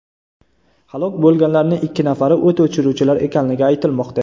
Halok bo‘lganlarning ikki nafari o‘t o‘chiruvchilar ekanligi aytilmoqda.